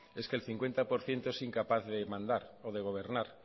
es que el cincuenta por ciento es incapaz de mandar o de gobernar